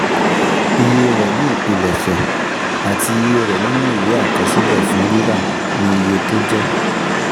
Iye rẹ̀ ni ìpilẹ̀ṣẹ̀, àti iye rẹ̀ nínú ìwé àkọsílẹ̀ fún rírà, ni iye tó jẹ́